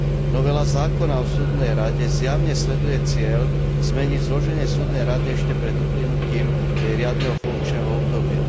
Novela zákona o súdnej rade zjavne sleduje cieľ zmeniť zloženie súdnej rady ešte pred uplynutím jej riadneho funkčného obdobia.